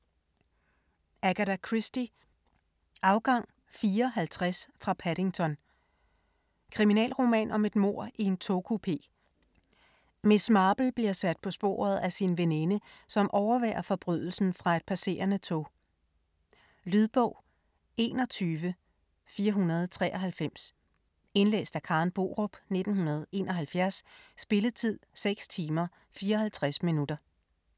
Christie, Agatha: Afgang 4.50 fra Paddington Kriminalroman om et mord i en togkupé. Miss Marple bliver sat på sporet af sin veninde, som overværer forbrydelsen fra et passerende tog. Lydbog 21493 Indlæst af Karen Borup, 1971. Spilletid: 6 timer, 54 minutter.